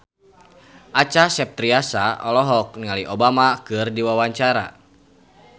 Acha Septriasa olohok ningali Obama keur diwawancara